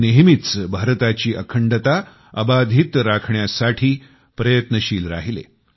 ते नेहमीच भारताची अखंडता अबाधित राखण्यासाठी प्रयत्नशील राहिले